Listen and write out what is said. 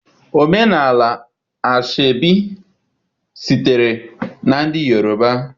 Omenala Aso-Ebi sitere na ndị Yoruba.